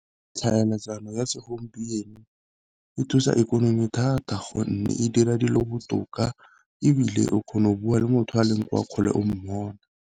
Tlhaeletsano ya segompieno e thusa ikonomi thata gonne e dira dilo botoka, ebile o kgona go bua le motho a leng kwa kgole o mmona.